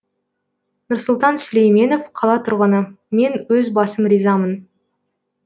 нұрсұлтан сүлейменов қала тұрғыны мен өз басым ризамын